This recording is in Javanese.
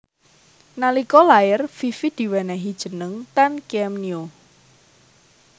Nalika lair Fifi diwenéhi jeneng Tan Kiem Nio